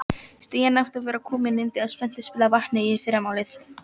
Stigin ættu öll að vera komin inn þegar spenntir spilarar vakna í fyrramálið.